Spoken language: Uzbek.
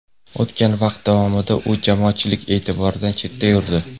O‘tgan vaqt davomida u jamoatchilik e’tiboridan chetda yurdi.